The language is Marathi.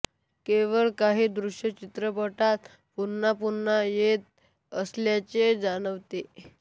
केवळ काही दृश्य चित्रपटात पुन्हा पुन्हा येत असल्याचे जाणवते